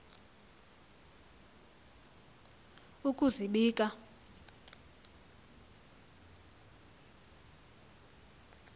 ukuzibika